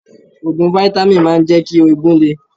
Òògùn fítámìn máa ń jẹ́ kí eegun le.